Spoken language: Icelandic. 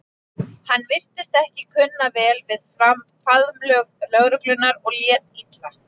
Hann virtist ekki kunna vel við faðmlög lögreglunnar og lét illa.